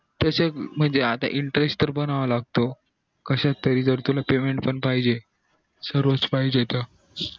तसं त म्हणजे interest त बनवावा लागतो कशात तरी जर तुला payment पण पाहिजे सर्वच पाहिजे त